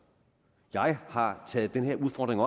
jeg har taget den her udfordring